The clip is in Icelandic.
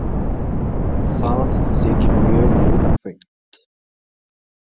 Það þykir mjög ljúffengt.